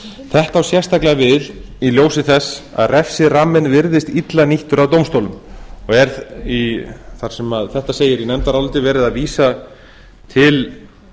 þetta á sérstaklega við í ljósi þess að refsiramminn virðist illa nýttur af dómstólum þar sem þetta segir í nefndaráliti er verið að vísa til